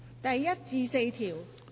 第1至4條。